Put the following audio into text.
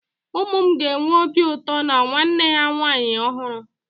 Ụmụ m ga-enwe obi ụtọ na nwanne ha nwaanyị ọhụrụ